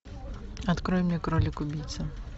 открой мне кролик убийца